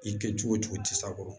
I kɛ cogo o cogo i t'a kɔrɔ